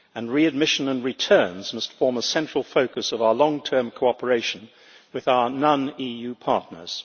Readmission and returns must form a central focus of our long term cooperation with our non EU partners.